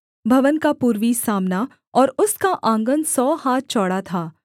भवन का पूर्वी सामना और उसका आँगन सौ हाथ चौड़ा था